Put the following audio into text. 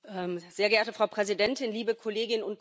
Frau Präsidentin, liebe Kolleginnen und Kollegen!